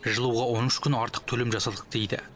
жылуға он үш күн артық төлем жасадық дейді